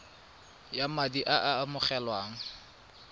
ya madi a a amogelwang